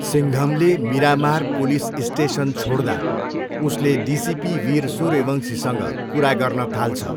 सिङ्घमले Miramar police station छोड्दा, उसले DCP Veer सूर्यवंशीसँग कुरा गर्न थाल्छ।